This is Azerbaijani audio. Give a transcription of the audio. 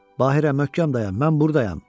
Bahirə, möhkəm dayan, mən burdayam.